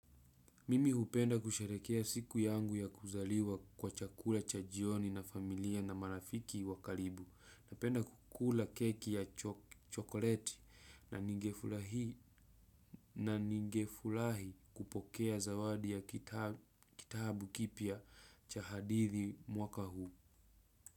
Mimi hupenda kusherehekea siku yangu ya kuzaliwa kwa chakula cha jioni na familia na marafiki wa karibu. Napenda kukula keki ya chokoleti na ningefurahi na ningefurahi kupokea zawadi ya kitabu kipya cha hadithi mwaka huu.